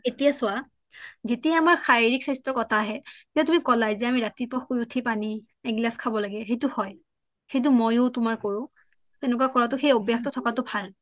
এতিয়া চোৱা যেতিয়া আমাৰ শাৰিৰীক স্বাস্থ্যৰ কথা আহে যে তুমি কলাইয়ে যে আমি ৰাতিপুৱাই পানী এগিলাছ খাব লাগে সেইটো হয় হেইটো মইও তোমাৰ কৰোঁ হেনেকুৱা কৰাটো সেই অভ্যাস থাকাটো ভাল